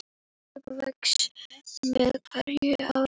Hlaupið vex með hverju árinu.